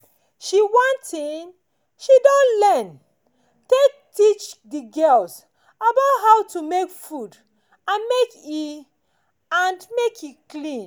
she watin she don learn take teach the girls about how to make food and make e and make e clean